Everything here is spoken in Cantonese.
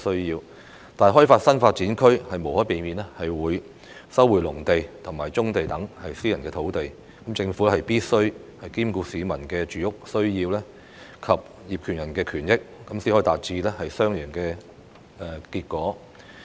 然而，開發新發展區無可避免會收回農地及棕地等私人土地，政府必需兼顧市民的住屋需要及業權人的權益，才可以達致雙贏的結果。